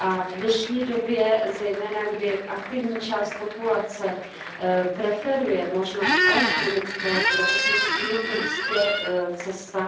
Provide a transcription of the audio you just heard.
V dnešní době, kdy zejména aktivní část populace preferuje možnost elektronického zdravotnictví, je to jistě cesta.